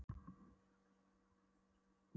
Hafði heyrt klukknahljóm áður en dyrabjallan klingdi.